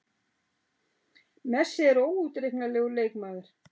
Messi er óútreiknanlegur leikmaður.